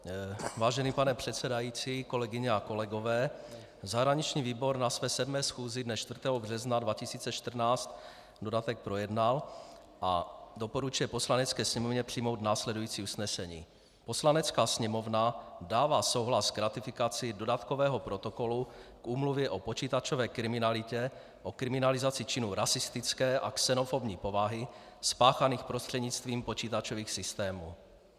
Vážený pane předsedající, kolegyně a kolegové, zahraniční výbor na své 7. schůzi dne 4. března 2014 dodatek projednal a doporučuje Poslanecké sněmovně přijmout následující usnesení: "Poslanecká sněmovna dává souhlas k ratifikaci Dodatkového protokolu k Úmluvě o počítačové kriminalitě, o kriminalizaci činů rasistické a xenofobní povahy spáchaných prostřednictvím počítačových systémů."